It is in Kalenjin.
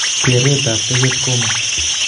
Keret ap teket koma